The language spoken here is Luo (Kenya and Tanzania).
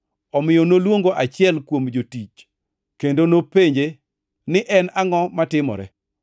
Omiyo noluongo achiel kuom jotich kendo nopenje ni en angʼo matimore.